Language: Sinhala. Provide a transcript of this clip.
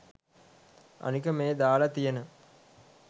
අනික මේ දාලා තියන